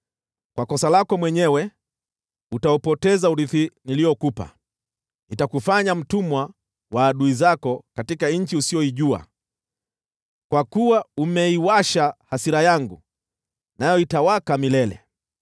Kwa kosa lako mwenyewe utaupoteza urithi niliokupa. Nitakufanya mtumwa wa adui zako katika nchi usiyoijua, kwa kuwa umeiwasha hasira yangu, nayo itawaka milele.”